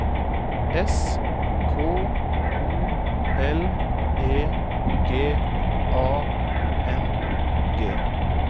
S K O L E G A N G